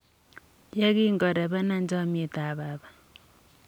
ye kingorebena chamnyetab baba.